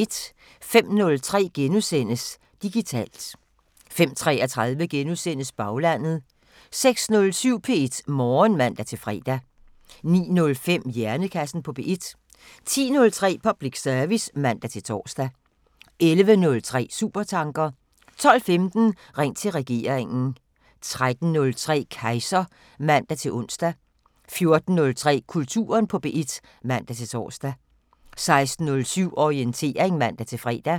05:03: Digitalt * 05:33: Baglandet * 06:07: P1 Morgen (man-fre) 09:05: Hjernekassen på P1 10:03: Public service (man-tor) 11:03: Supertanker 12:15: Ring til regeringen 13:03: Kejser (man-ons) 14:03: Kulturen på P1 (man-tor) 16:07: Orientering (man-fre)